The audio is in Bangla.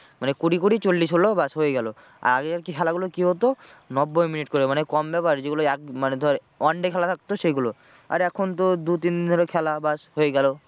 মানে কুড়ি কুড়ি চল্লিশ হলো ব্যাস হয়ে গেলো আর আগের খেলা গুলো কি হতো নব্বই মিনিট করে মানে কম ব্যাপার যেগুলো এক মানে ধর one day খেলা থাকতো সেগুলো আর এখন তো দু তিনদিন ধরে খেলা ব্যাস হয়ে গেলো।